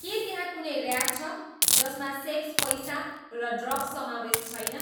के त्यहाँ कुनै र्याप छ जसमा सेक्स पैसा र ड्रग्स समावेस छैन